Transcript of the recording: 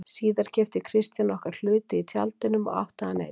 Síðar keypti Kristján okkar hluti í Tjaldinum og átti hann einn.